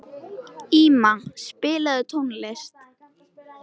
Íma, spilaðu tónlist.